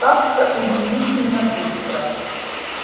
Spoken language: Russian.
как-то удивительно быстро